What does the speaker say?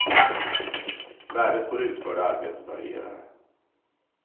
Värdet på det utförda arbetet varierar.